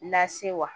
Lase wa